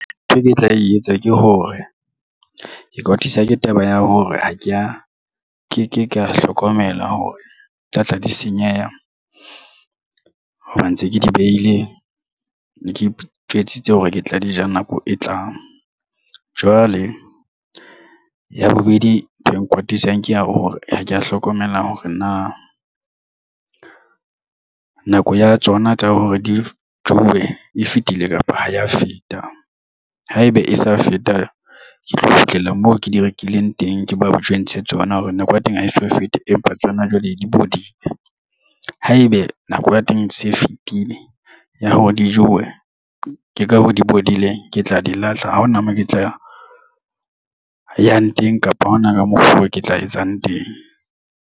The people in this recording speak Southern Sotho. Ntho e ke tla e etsa ke hore ke kwatiswa ke taba ya hore ha ke ya ke ke ka hlokomela hore tlatla di senyeha hoba ntse ke di behile ke itjwetsitse hore ke tla di ja nako e tlang. Jwale ya bobedi ntho e nkwatisang ke ya hore ha ke a hlokomela hore na nako ya tsona tsa hore di jewe e fetile kapa ha ya feta haeba e sa feta ke tlo kgutlela moo ke di rekileng teng ke mo jwentshe tsona hore nako ya teng ha e so fete. Empa tsona jwale di bodile haebe nako ya teng e se e fetile ya hore di jowe ke ka hoo di bodile ke tla di lahla. Ha hona moo ke tla yang teng kapa hona ka mokgwa oo ke tla etsang teng.